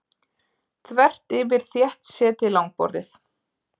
Þvert yfir þéttsetið langborðið.